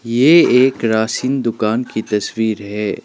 ये एक राशन दुकान की तस्वीर है।